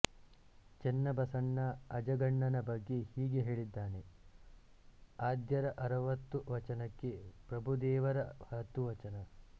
ಚೆನ್ನಬಸವಣ್ಣ ಅಜಗಣ್ಣನ ಬಗ್ಗೆ ಹೀಗೆ ಹೇಳಿದ್ದಾನೆ ಆದ್ಯರ ಅರುವತ್ತು ವಚನಕ್ಕೆ ಪ್ರಭುದೇವರ ಹತ್ತುವಚನ